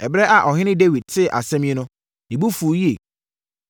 Ɛberɛ a ɔhene Dawid tee asɛm yi no, ne bo fuu yie.